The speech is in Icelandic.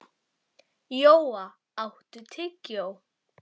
Jóa, áttu tyggjó?